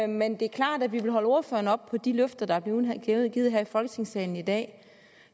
men det er klart at vi vil holde ordføreren op på de løfter der er blevet givet her i folketingssalen i dag